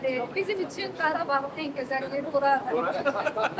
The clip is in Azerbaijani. Bizim üçün Qarabağda hər yer gözəldir.